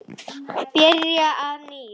Byrja að nýju?